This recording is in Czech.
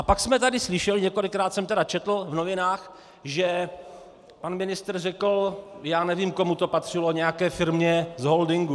A pak jsme tady slyšeli, několikrát jsem tedy četl v novinách, že pan ministr řekl: já nevím, komu to patřilo, nějaké firmě z holdingu.